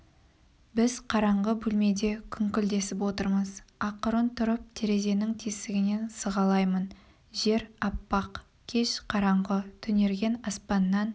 біз қараңғы бөлмеде күңкілдесіп отырмыз ақырын тұрып терезенің тесігінен сығалаймын жер аппақ кеш қараңғы түнерген аспаннан